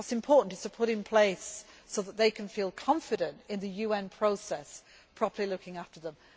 wrong. What is important is to put it in place, so that they can feel confident in the UN process properly looking after